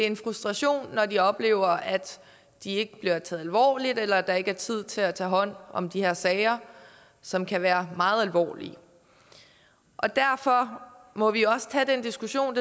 en frustration når de oplever at de ikke bliver taget alvorligt eller oplever at der ikke er tid til at tage hånd om de her sager som kan være meget alvorlige derfor må vi også tage den diskussion